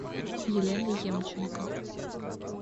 елена емченко